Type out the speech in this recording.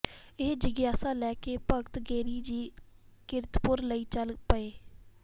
ਇਹ ਜਿਗਿਆਸਾ ਲੈ ਕੇ ਭਗਤ ਗਿਰਿ ਜੀ ਕੀਰਤਪੁਰ ਲਈ ਚੱਲ ਪਏ